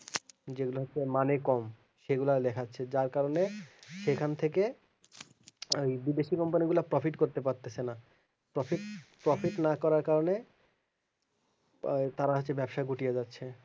যে গুলো হচ্ছে মানে কম সেগুলো লেখাচ্ছে যার কারণে সেখান থেকে বিদেশি company গুলা profit করতে পারতেছে না profitprofit না করার কারণে তারা হচ্ছে ব্যবসা গুটিযা যাচ্ছে